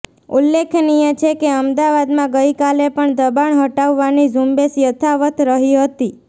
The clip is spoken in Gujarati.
ઉલ્લેખનીય છે કે અમદાવાદમાં ગઇકાલે પણ દબાણ હટાવવાની ઝુંબેશ યથાવત રહી હતી